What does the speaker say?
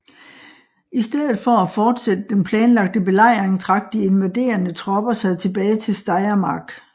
I stedet for at fortsætte den planlagte belejring trak de invaderende tropper sig tilbage til Steiermark